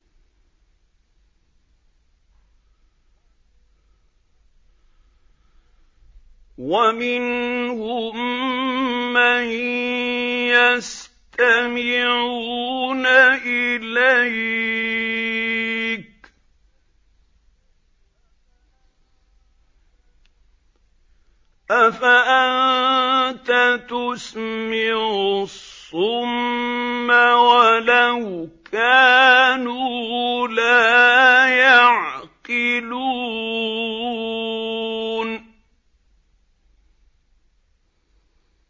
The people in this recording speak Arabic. وَمِنْهُم مَّن يَسْتَمِعُونَ إِلَيْكَ ۚ أَفَأَنتَ تُسْمِعُ الصُّمَّ وَلَوْ كَانُوا لَا يَعْقِلُونَ